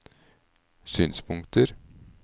synspunkter